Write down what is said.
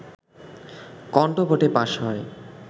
কন্ঠভোটে pass হয়